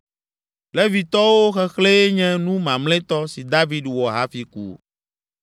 Levitɔwo xexlẽe nye nu mamlɛtɔ si David wɔ hafi ku.